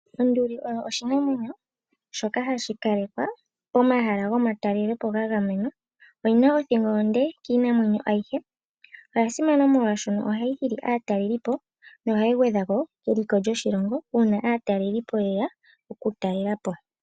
Onduli oyo oshinamwenyo shoka hashi kala pomahala gomatalelopo ngangamenwa oyina othingo onde kiinamwenyo ayihe. Onduli oyasimana oshoka ohayi hili aataleli no hayi gwedhako keliko lyoshilongo uuna aataleli yeya okutalelapo.